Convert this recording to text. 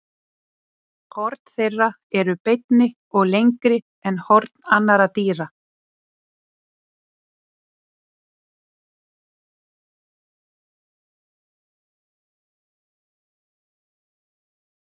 Horn þeirra eru beinni og lengri en horn annarra dýra.